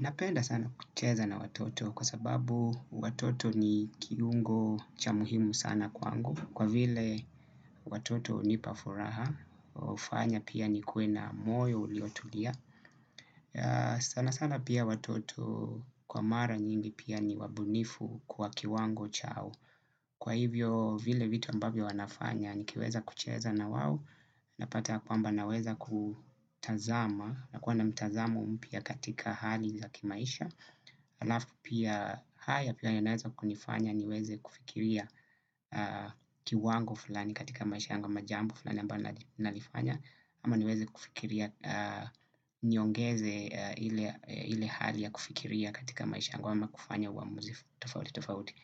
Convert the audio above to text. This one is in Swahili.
Napenda sana kucheza na watoto kwa sababu watoto ni kiungo cha muhimu sana kwangu. Kwa vile watoto hunipa furaha, hufanya pia nikuwe na moyo uliotulia. Sana sana pia watoto kwa mara nyingi pia ni wabunifu kwa kiwango chao. Kwa hivyo vile vitu ambavyo wanafanya nikiweza kucheza na wao. Napata ya kwamba naweza kutazama na kuwa na mtazamo mpya katika hali za kimaisha. Alafu pia haya pia yanaeza kunifanya niweze kufikiria kiwango fulani katika maisha yangu ama jambo fulani ambalo nalifanya ama niweze kufikiria niongeze ile hali ya kufikiria katika maisha yango ama kufanya uamuzi tofauti tofauti.